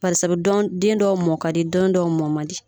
den dɔw mɔ ka di den dɔw mɔ man di